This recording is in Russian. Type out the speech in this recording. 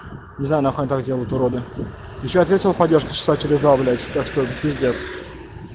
не знаю нахуй они так делают уроды ещё ответил поддержка часа через два блять что п